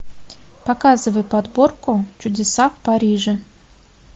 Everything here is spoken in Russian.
показывай подборку чудеса в париже